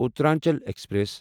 Uttaranchal express